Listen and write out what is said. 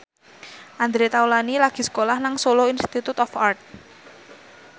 Andre Taulany lagi sekolah nang Solo Institute of Art